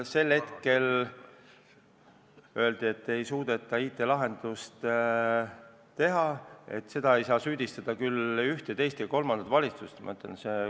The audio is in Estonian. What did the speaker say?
Sel hetkel öeldi, et ei suudeta IT-lahendust teha, selles ei saa süüdistada ühte, teist ega kolmandat valitsust.